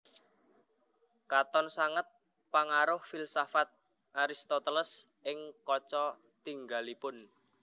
Katon sanget pangaruh filsafat Aristoteles ing kaca tingalipun